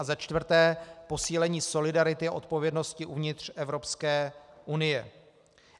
A za čtvrté, posílení solidarity a odpovědnosti uvnitř Evropské unie.